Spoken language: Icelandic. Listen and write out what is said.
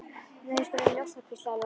Nei, við skulum njósna hvíslaði Lúlli.